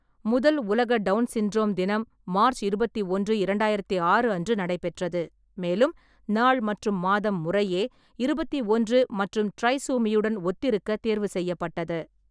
முதல் உலக Down syndrome தினம் மார்ச் இருபத்தி ஒன்று, இரண்டாயிரத்து ஆறு அன்று நடைபெற்றது, மேலும் நாள் மற்றும் மாதம் முறையே இருபத்தி ஒன்று மற்றும் ட்ரைசோமியுடன் ஒத்திருக்க தேர்வு செய்யப்பட்டது.